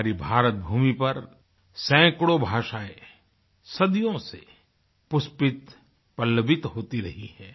हमारी भारत भूमि पर सैकड़ों भाषाएँ सदियों से पुष्पित पल्लवित होती रही हैं